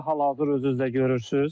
Hal-hazır özünüz də görürsüz.